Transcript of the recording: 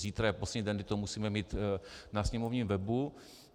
Zítra je poslední den, kdy to musíme mít na sněmovním webu.